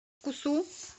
кусу